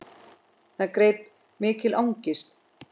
Það greip mikil angist.